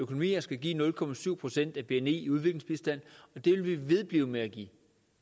økonomier skal give nul procent af bni i udviklingsbistand og det vil vi vedblive med at give